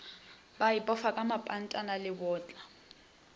ba ipofa ka mapantana lebotla